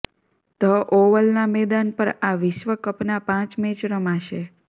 the ઓવલના મેદાન પર આ વિશ્વકપના પાંચ મેચ રમાશે